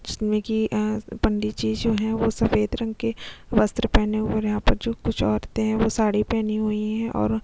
जिसमे की अ पंडित जी जो है वो सफेद रंग के वस्त्र पहने हुए है और यहाँ पर जो कुछ औरतें है वो साड़ी पहनी हुई है और--